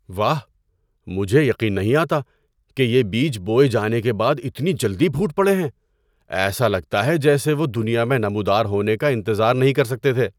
واہ، مجھے یقین نہیں آتا کہ یہ بیج بوئے جانے کے بعد اتنی جلدی پھوٹ پڑے ہیں۔ ایسا لگتا ہے جیسے وہ دنیا میں نمودار ہونے کا انتظار نہیں کر سکتے تھے!